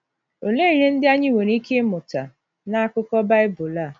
Olee ihe ndị anyị nwere ike ịmụta n’akụkọ Baịbụl a?